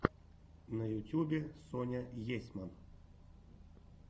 на ютюбе соня есьман